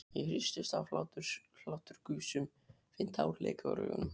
Ég hristist af hláturgusum, finn tár leka úr augunum.